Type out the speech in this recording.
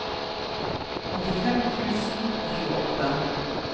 åttifem tusen og tjueåtte